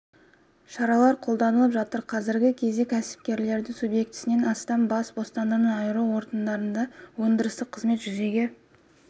шаралар қолданылып жатыр қазіргі кезде кәсіпкерлердің субъектісінен астамы бас бостандығынан айыру орындарында өндірістік қызметті жүзеге